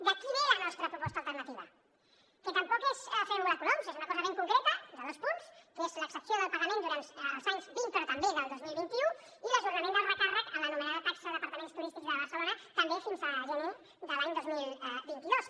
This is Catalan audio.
d’aquí ve la nostra proposta alternativa que tampoc és fer volar coloms és una cosa ben concreta de dos punts que és l’exempció del pagament durant l’any vint però també en el dos mil vint u i l’ajornament del recàrrec a l’anomenada taxa d’apartaments turístics de barcelona també fins a gener de l’any dos mil vint dos